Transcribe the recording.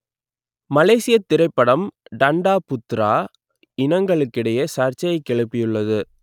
மலேசியத் திரைப்படம் Tanda Putera இனங்களுக்கிடையே சர்ச்சையைக் கிளப்பியுள்ளது